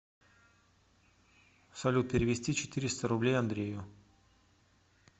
салют перевести четыреста рублей андрею